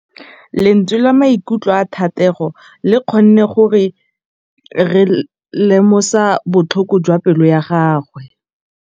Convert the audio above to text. Lentswe la maikutlo a Thategô le kgonne gore re lemosa botlhoko jwa pelô ya gagwe.